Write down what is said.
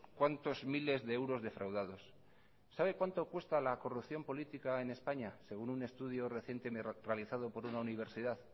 cuantos miles de euros defraudados sabe cuánto cuesta la corrupción política en españa según un estudio reciente realizado por una universidad